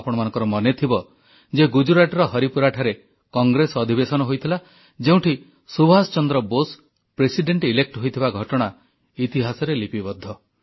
ଆପଣମାନଙ୍କର ମନେଥିବ ଯେ ଗୁଜରାଟର ହରିପୁରାଠାରେ କଂଗ୍ରେସ ଅଧିବେଶନ ହୋଇଥିଲା ଯେଉଁଠାରେ ସୁଭାଷ ଚନ୍ଦ୍ର ବୋଷ ପ୍ରେସିଡେଣ୍ଟ ଇଲେକ୍ଟ ହୋଇଥିବା ଘଟଣା ଇତିହାସରେ ଲିପିବଦ୍ଧ